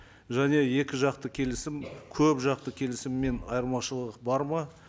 және екі жақты келісім көп жақты келісімнен айырмашылық бар ма